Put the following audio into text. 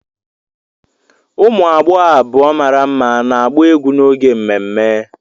Ụmụ agbọghọ abụọ mara mma na-agba egwu n'oge ememme.